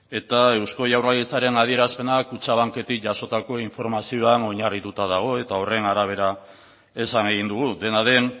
eta eusko jaurlaritzaren adierazpenak kutxabanketik jasotako informazioan oinarrituta dago eta horren arabera esan egin dugu dena den